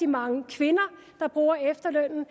mange kvinder der bruger efterlønnen